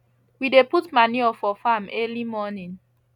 we dey put manure for farm early morning